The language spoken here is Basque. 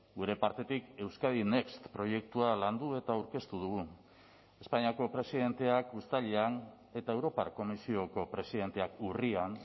gure partetik euskadi next proiektua landu eta aurkeztu dugu espainiako presidenteak uztailean eta europar komisioko presidenteak urrian